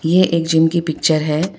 ये एक जिम की पिक्चर है।